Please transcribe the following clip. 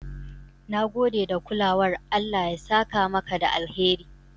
Na gode da kulawar, Allah ya saka maka da alheri"